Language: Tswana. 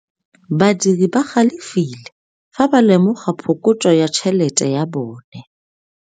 Badiri ba galefile fa ba lemoga phokotsô ya tšhelête ya bone.